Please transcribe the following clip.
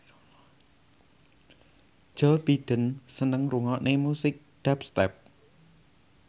Joe Biden seneng ngrungokne musik dubstep